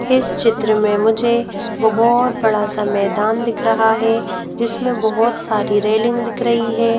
इस चित्र में मुझे बहुत बड़ा सा मैदान दिख रहा है जिसमें बहुत सारी रेलिंग दिख रही है।